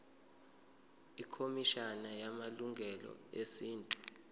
ikhomishana yamalungelo esintu